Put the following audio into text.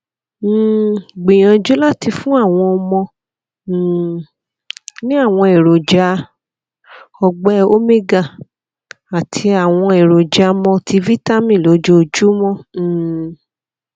um gbìyànjú láti fún àwọn ọmọ um ní àwọn èròjà ọgbẹ omega àti àwọn èròjà multivitamin lójoojúmọ um